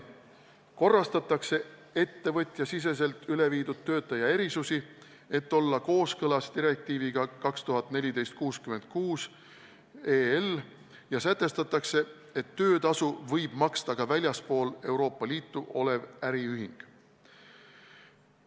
Korrastatakse ettevõtjasiseselt üle viidud töötaja erisusi, et olla kooskõlas direktiiviga 2014/66/EL, ja sätestatakse, et töötasu võib maksta ka väljaspool Euroopa Liitu olev äriühing.